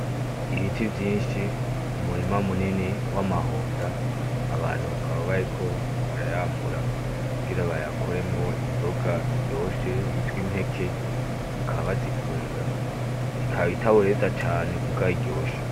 Ibiti vyinshi, umurima munini w'amahonda abantu bakaba bariko barayamura kugira bayakoremwo inzoga iryoshe yitwa impeke bakaba bazikunda, ikaba itaboreza cane muga iryoshe.